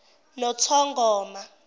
nothongoma